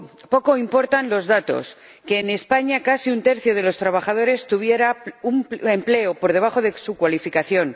Poco importan los datos que en España casi un tercio de los trabajadores tuviera un empleo por debajo de su cualificación